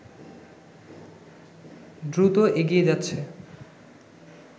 দ্রুত এগিয়ে যাচ্ছে